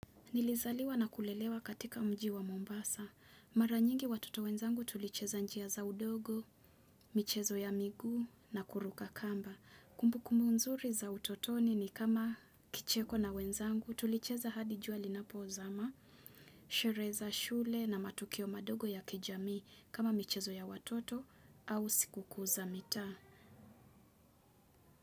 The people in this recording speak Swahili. Nilizaliwa na kulelewa katika mji wa Mombasa. Mara nyingi watoto wenzangu tulicheza njia za udogo, michezo ya migu na kuruka kamba. Kumbukumbu mzuri za utotoni ni kama kicheko na wenzangu tulicheza hadi jua lina pozama, shereza shule na matukio madogo ya kijami kama michezo ya watoto au sikuku za mita.